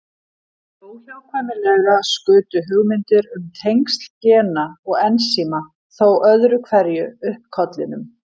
Óhjákvæmilega skutu hugmyndir um tengsl gena og ensíma þó öðru hverju upp kollinum.